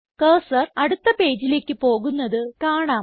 cursor അടുത്ത പേജിലേക്ക് പോകുന്നത് കാണാം